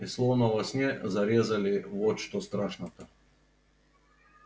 и словно во сне зарезали вот что страшно